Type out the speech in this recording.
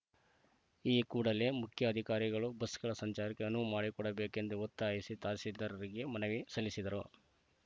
ಈ ಕೂಡಲೇ ಮುಖ್ಯಾಧಿಕಾರಿಗಳು ಬಸ್‌ಗಳ ಸಂಚಾರಕ್ಕೆ ಅನುವು ಮಾಡಿಕೊಡಬೇಕೆಂದು ಒತ್ತಾಯಿಸಿ ತಹಸೀಲ್ದಾರರಿಗೆ ಮನವಿ ಸಲ್ಲಿಸಿದರು